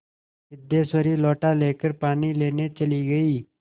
सिद्धेश्वरी लोटा लेकर पानी लेने चली गई